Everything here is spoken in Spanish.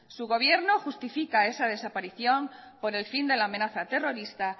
su gobierno justifica esa desaparición por el fin de la amenaza terrorista